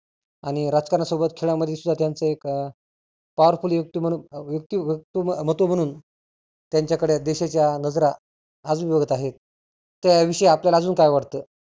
आणि राजकारण्या सोबर खेळा मध्ये सुद्धा त्यांच एक powerful व्यक्ती म्हणुन व्यक्ती व्यक्तिमहत्व म्हणून त्यांच्याकडे देशाच्या नजरा आजुन बघत आहेत. त्या विषयी आपल्याला अजून काय वाटतं?